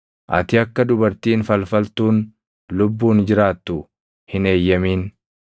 “Ati akka dubartiin falfaltuun lubbuun jiraattu hin eeyyamin.